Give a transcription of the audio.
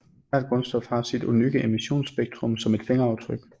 Hvert grundstof har sit unikke emissionsspektrum som et fingeraftryk